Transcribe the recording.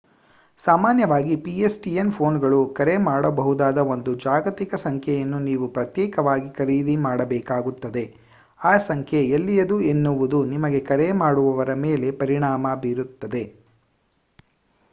ಸಾಮಾನ್ಯವಾಗಿ pstn ಪೋನ್‌ಗಳು ಕರೆ ಮಾಡಬಹುದಾದ ಒಂದು ಜಾಗತಿಕ ಸಂಖ್ಯೆಯನ್ನು ನೀವು ಪ್ರತ್ಯೇಕವಾಗಿ ಖರೀದಿ ಮಾಡಬೇಕಾಗುತ್ತದೆ. ಈ ಸಂಖ್ಯೆ ಎಲ್ಲಿಯದು ಎನ್ನುವುದು ನಿಮಗೆ ಕರೆ ಮಾಡುವವರ ಮೇಲೆ ಪರಿಣಾಮ ಬೀರುತ್ತದೆ